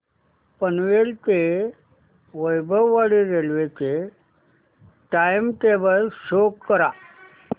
पनवेल ते वैभववाडी रेल्वे चे time table show करा